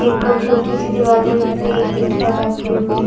एक छोटी सी दीवार है जिस पे एक ईंट का रखे हुए है।